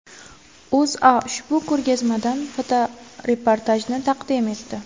O‘zA ushbu ko‘rgazmadan fotoreportajni taqdim etdi .